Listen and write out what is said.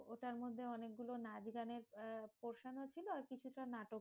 ওটার মধ্যে অনেক গুলো নাচ গানের portion ও ছিল আর কিছুটা নাটক,